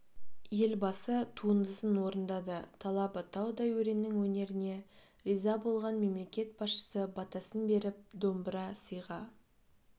елбасы туындысын орындады талабы таудай өреннің өнеріне риза болған мемлекет басшысы батасын беріп домбыра сыйға